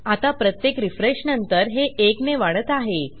आता प्रत्येक रिफ्रेशनंतर हे 1 ने वाढत आहे